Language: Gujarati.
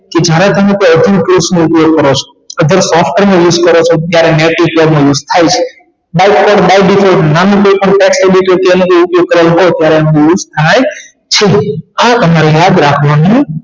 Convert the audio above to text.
કે જ્યારે તમે કોઇ નો ઉપયોગ કરો છો અથવા કોઇ software નો use કરે છે ત્યારે નો use થાય છે by default ઉપયોગ કરેલ હોય ત્યારે એનો use થાય છે આ તમારે યાદ રાખવાનું